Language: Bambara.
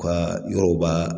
Ka yɔrɔw ba